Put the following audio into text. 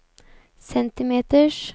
centimeters